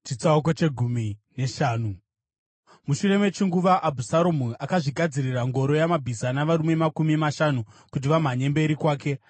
Mushure mechinguva, Abhusaromu akazvigadzirira ngoro yamabhiza navarume makumi mashanu kuti vamhanye mberi kwake.